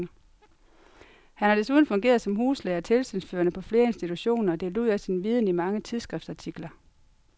Han har desuden fungeret som huslæge og tilsynsførende på flere institutioner og delt ud af sin viden i mange tidsskriftsartikler.